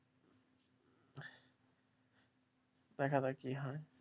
দেখা যাক কি হয়?